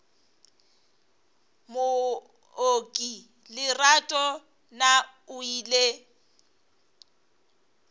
mooki lerato na o ile